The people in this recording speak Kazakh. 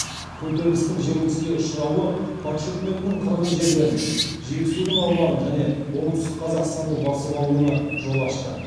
көтерілістің жеңіліске ұшырауы патша үкіметінің қырғыз жерлерін жетісудың аумағын және оңтүстік қазақстанды басып алуына жол ашты